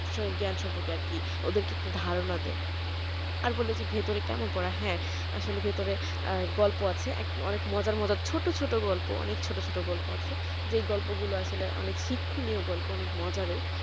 জ্ঞান সম্পর্কে আছে ওদেরকে একটু ধারণা দেয় আর বললে যে ভেতরে কেমন পড়া কেমন হ্যাঁ আসলে ভেতরে গল্প আছে এখন অনেক মজার মজার ছোট ছোট গল্প অনেক। ছোট ছোট গল্প আছে যেই গল্পগুলো আছে অনেক শিক্ষনীয় গল্প অনেক মজার